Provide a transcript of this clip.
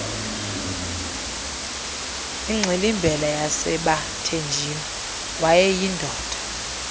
ingxilimbela yasebathenjini wayeyindoda